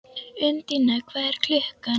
Undína, hvað er klukkan?